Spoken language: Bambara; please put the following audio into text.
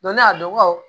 ne y'a dɔn